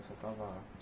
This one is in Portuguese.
Você estava